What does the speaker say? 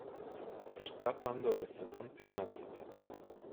сердца пандоры сезон пятнадцать